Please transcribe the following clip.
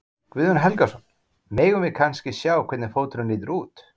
Guðjón Helgason: Megum við kannski sjá hvernig fóturinn lítur út?